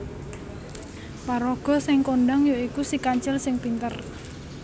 Paraga sing kondhang ya iku Si Kancil sing pinter